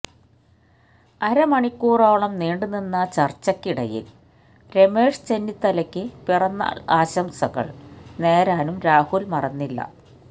അരമണിക്കൂറോളം നീണ്ടുനിന്നചര്ച്ചയ്ക്കിടയില് രമേശ് ചെന്നിത്തലയ്ക്ക് പിറന്നാള് ആശംസകള് നേരാനും രാഹുല് മറന്നില്ല